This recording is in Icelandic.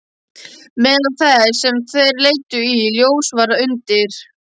Meðal þess sem þær leiddu í ljós var að undir